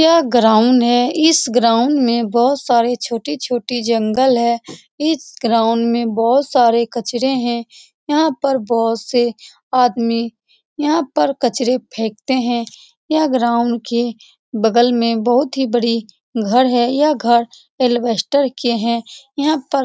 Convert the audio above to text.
यह ग्राउंड है इस ग्राउंड में बहुत सारे छोटी छोटी जंगल है इस ग्राउंड में बहुत सारे कचरे है यहाँ पर बहुत से आदमी यहाँ पर कचरे फेंकते है यह ग्राउंड के बगल में बहुत ही बड़ी घर है यह घर एलवेस्टर के है यहाँ पर --